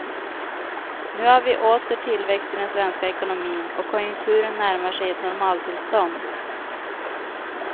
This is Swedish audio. Nu har vi åter tillväxt i den svenska ekonomin, och konjunkturen närmar sig ett normaltillstånd.